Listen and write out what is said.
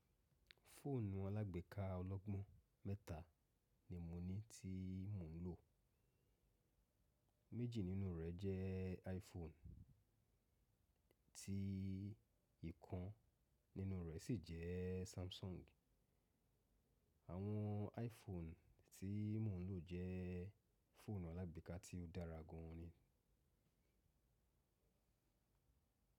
Fóònù alágbèéká ọlọ́gbọ́n mẹ́ta ni mo ní tí mò ń lò, méjì nínú rẹ̀ jẹ́ iPhone tí ìkan nínú rẹ̀ sì jẹ́ Samsung. Àwọn iPhone tí mò ń lò jẹ́ fóònù alágbèéká tí ó dára gan an ni.